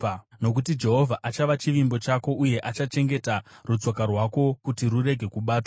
nokuti Jehovha achava chivimbo chako uye achachengeta rutsoka rwako kuti rurege kubatwa.